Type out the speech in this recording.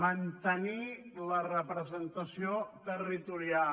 mantenir la representació territorial